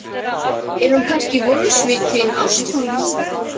Er hún kannski vonsvikin, ástfangin stelpa?